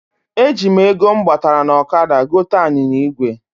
E ji m ego m gbatara n ọkada gote anyinya igwe.